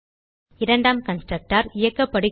இரண்டாம் கன்ஸ்ட்ரக்டர் இயக்கப்படுகிறது